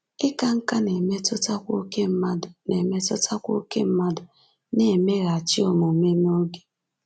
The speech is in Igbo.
Ịka nká na-emetụtakwa ókè mmadụ na-emetụtakwa ókè mmadụ na-emeghachị omume n’oge.